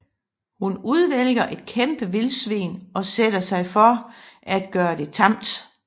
Hun udvælger et kæmpe vildsvin og sætter sig for at gøre det tamt